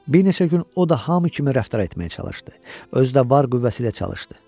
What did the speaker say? Bir neçə gün o da hamı kimi rəftar etməyə çalışdı, özü də var qüvvəsi ilə çalışdı.